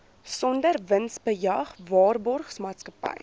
sonder winsbejag waarborgmaatskappy